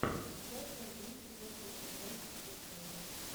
часть один четвертый сезон кухня